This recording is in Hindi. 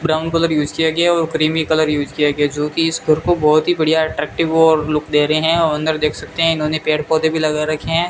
ब्राउन कलर यूज किया गया है और क्रीमी कलर यूज किया गया है जोकि इस घर को बहोत ही बढ़िया अट्रैक्टिव और लुक दे रहे हैं और अंदर देख सकते हैं इन्होंने पेड़ पौधे भी लगा रखे हैं।